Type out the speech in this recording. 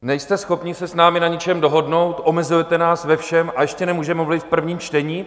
Nejste schopni se s námi na ničem dohodnout, omezujete nás ve všem, a ještě nemůžeme mluvit v prvním čtení?